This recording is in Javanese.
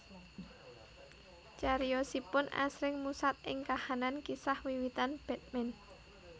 Cariyosipun asring musat ing kahanan kisah wiwitan Batman